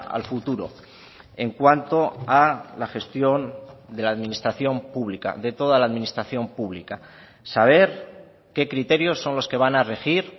al futuro en cuanto a la gestión de la administración pública de toda la administración pública saber qué criterios son los que van a regir